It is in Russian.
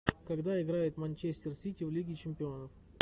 когда играет манчестер сити в лиге чемпионов